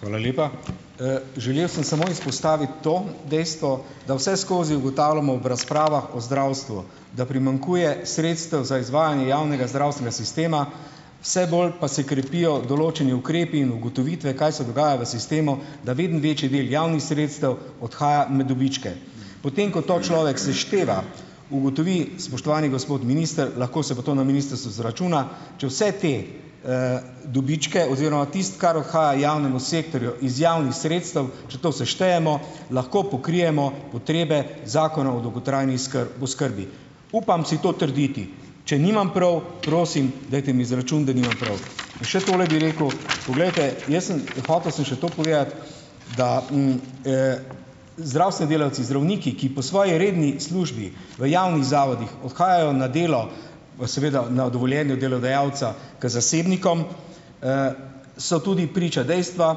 Hvala lepa. Želel sem samo izpostaviti to dejstvo, da vseskozi ugotavljamo ob razpravah o zdravstvu, da primanjkuje sredstev za izvajanje javnega zdravstvenega sistema, vse bolj pa se krepijo določeni ukrepi in ugotovitve, kaj se dogaja v sistemu, da vedno večji del javnih sredstev odhaja med dobičke. Potem ko to človek sešteva, ugotovi, spoštovani gospod minister, lahko se pa to na ministrstvu izračuna, če vse te, dobičke oziroma tisto, kar odhaja javnemu sektorju iz javnih sredstev, če to seštejemo, lahko pokrijemo potrebe Zakona o dolgotrajni oskrbi. Upam si to trditi, če nimam prav, prosim, dajte mi izračun, da nimam prav. Pa še tole bi rekel, poglejte, jaz sem hotel sem še to povedati, da, zdravstveni delavci, zdravniki, ki po svoje redni službi v javnih zavodih odhajajo na delo, v seveda na dovoljenju delodajalca k zasebnikom, so tudi priča dejstvu,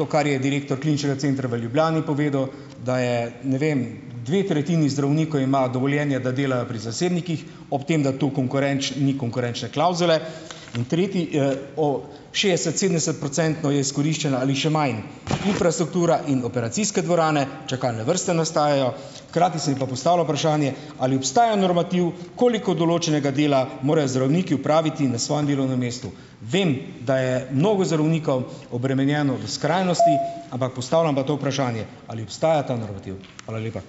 to, kar je direktor Kliničnega centra v Ljubljani povedal, da je, ne vem, dve tretjini zdravnikov imajo dovoljenje, da delajo pri zasebnikih, ob tem, da tu ni konkurenčne klavzule in tretji, o - šestdeset-, sedemdesetprocentno je izkoriščeno ali še manj, infrastruktura in operacijske dvorane, čakalne vrste nastajajo, hkrati se mi pa postavlja vprašanje, ali obstaja normativ, koliko določenega dela morajo zdravniki opraviti na svojem delovnem mestu. Vem, da je mnogo zdravnikov obremenjeno v skrajnosti, ampak postavljam pa to vprašanje - ali obstaja ta normativ? Hvala lepa.